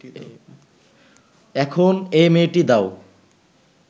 এখন এ মেয়েটি দাও